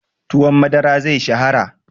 Tuwon madara zai shahara.